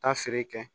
Taa feere kɛ